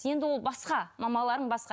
енді ол басқа мамаларың басқа